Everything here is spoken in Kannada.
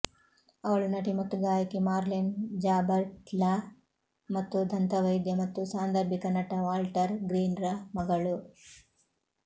ಅವಳು ನಟಿ ಮತ್ತು ಗಾಯಕಿ ಮಾರ್ಲೆನ್ ಜಾಬರ್ಟ್ಳ ಮತ್ತು ದಂತವೈದ್ಯ ಮತ್ತು ಸಾಂದರ್ಭಿಕ ನಟ ವಾಲ್ಟರ್ ಗ್ರೀನ್ ರ ಮಗಳು